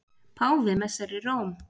Páfi messar í Róm